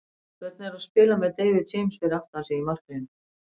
Hvernig er að spila með David James fyrir aftan sig í markinu?